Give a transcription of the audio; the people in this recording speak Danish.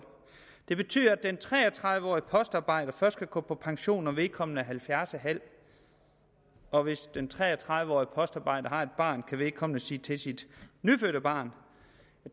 det betyder at den tre og tredive årige postarbejder først kan gå på pension når vedkommende er halvfjerds en halv og hvis den tre og tredive årige postarbejder har et barn kan vedkommende sige til sit nyfødte barn